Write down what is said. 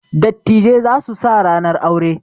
Dattijai za su sa ranar aure.